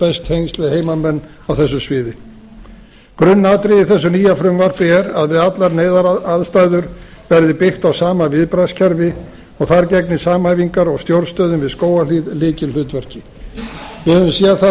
best tengsl við heimamenn á þessu sviði grunnatriði í þessu nýja frumvarpi er við allar neyðaraðstæður verði byggt á sama viðbragðskerfi og þar gegni samhæfingar og stjórnstöðin við skógarhlíð lykilhlutverki við höfum séð það